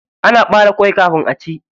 Ana ɓare kwai kafin aci.